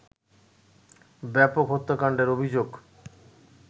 ব্যাপক হত্যাকাণ্ডের অভিযোগ